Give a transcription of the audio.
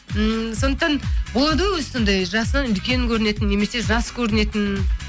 сондықтан болады ғой өзі сондай жасынан үлкен көрінетін немесе жас көрінетін